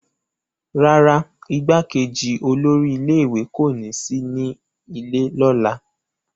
rárá, igbákejì olórí ilé ìwé kò ní sí nílé ní ọ̀la